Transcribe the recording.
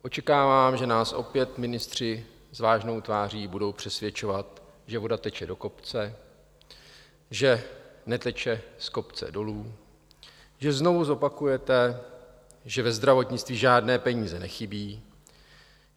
Očekávám, že nás opět ministři s vážnou tváří budou přesvědčovat, že voda teče do kopce, že neteče z kopce dolů, že znovu zopakujete, že ve zdravotnictví žádné peníze nechybí.